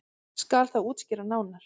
Skal það útskýrt nánar.